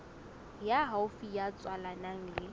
ya haufi ya tswalanang le